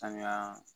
Sanuya